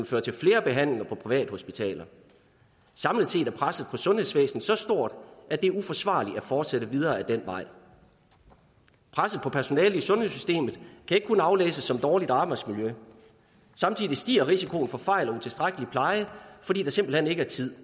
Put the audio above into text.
føre til flere behandlinger på privathospitaler samlet set er presset på sundhedsvæsenet så stort at det er uforsvarligt at fortsætte videre ad den vej presset på personalet i sundhedssystemet kan ikke kun aflæses som dårligt arbejdsmiljø for samtidig stiger risikoen for fejl og utilstrækkelig pleje fordi der simpelt hen ikke er tid